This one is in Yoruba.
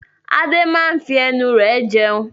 Adé máa ń fi ẹnu rẹ̀ jẹun.